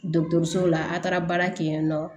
so la a taara baara kɛ yen nɔ